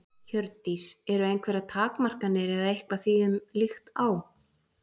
Hjördís: Eru einhverjar takmarkanir eða eitthvað því um líkt á?